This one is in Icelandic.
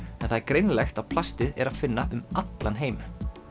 en það er greinilegt að plastið er að finna um allan heim